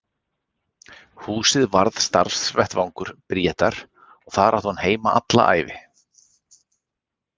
Húsið varð starfsvettvangur Bríetar og þar átti hún heima alla ævi.